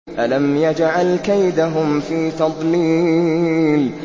أَلَمْ يَجْعَلْ كَيْدَهُمْ فِي تَضْلِيلٍ